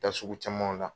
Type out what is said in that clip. Taa sugu camanw la